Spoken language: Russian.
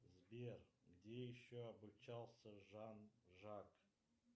сбер где еще обучался жан жак